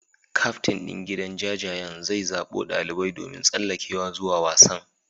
Kyaftin din gidan jajayen zai zabo dalibai domin tsallakewa zuwa wasan.